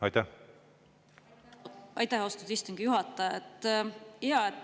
Aitäh, austatud istungi juhataja!